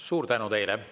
Suur tänu teile!